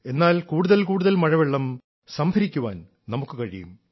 എന്നാൽ കൂടുതൽ കൂടുതൽ മഴവെള്ളം സംഭരിക്കാൻ നമുക്കു കഴിയും